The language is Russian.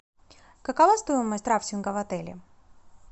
какова стоимость рафтинга в отеле